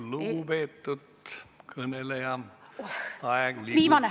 Lugupeetud kõneleja, aeg liigub!